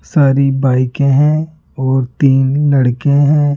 सारी बाइके हैं और तीन लड़के हैं।